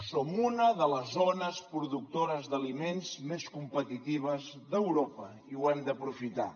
som una de les zones productores d’aliments més competitives d’europa i ho hem d’aprofitar